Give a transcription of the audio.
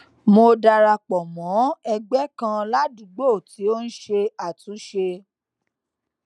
mo dara pò mó ẹgbé kan ládùúgbò tí ó ń ṣe àtúnṣe